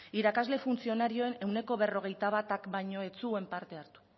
irakasle funtzionarioen ehuneko berrogeita batak baino ez zuen parte hartu